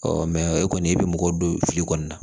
e kɔni i bɛ mɔgɔ don fili kɔni na